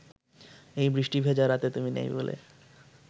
এই বৃষ্টি ভেজা রাতে তুমি নেই বলে